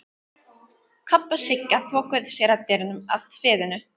Kobbi og Sigga þokuðu sér að dyrunum að sviðinu.